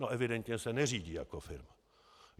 No evidentně se neřídí jako firma.